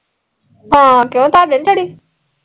ਹਾਂ ਕਿਓ ਤੁਹਾਡੇ ਨੀ ਚੜੀ